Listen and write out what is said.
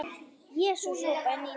Jesús hrópaði Nína.